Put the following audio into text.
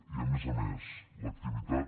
i a més a més l’activitat